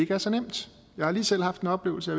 er så nemt jeg har lige selv haft en oplevelse